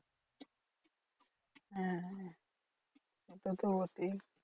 হ্যাঁ সেটা তো বটেই।